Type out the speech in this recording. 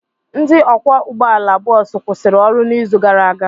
Ndị ọkwọ ụgbọala bọọsụ kwụsịrị ọrụ n'izu gara aga.